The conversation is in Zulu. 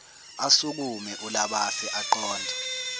asukume ulabase aqonde